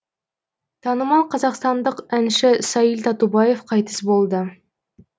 танымал қазақстандық әнші саиль татубаев қайтыс болды